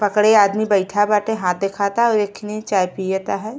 पकड़े आदमी बइठा बाटे। हाथ देखाता और एखनि चाय पियता है।